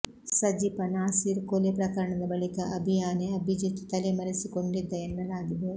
ಸಜಿಪ ನಾಸೀರ್ ಕೊಲೆ ಪ್ರಕರಣದ ಬಳಿಕ ಅಭಿ ಯಾನೆ ಅಭಿಜಿತ್ ತಲೆ ಮರೆಸಿಕೊಂಡಿದ್ದ ಎನ್ನಲಾಗಿದೆ